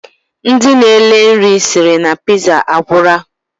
Ndi na ele nri siri na piza, agwura.